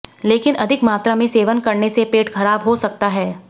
लेकिन अधिक मात्रा में सेवन करने से पेट खराब हो सकता है